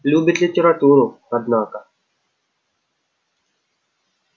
любит литературу однако